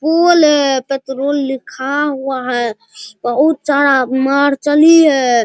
पोल है पेट्रोल लिखा हुआ है बहुत सारा मर्सल्ली है।